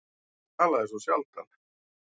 Hann talaði svo sjaldan.